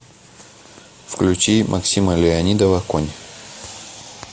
включи максима леонидова конь